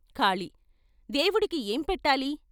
ఖాళీ, "దేవుడికి ఏం పెట్టాలి?